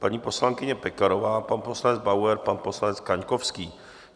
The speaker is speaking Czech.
Paní poslankyně Pekarová, pan poslanec Bauer, pan poslanec Kaňkovský.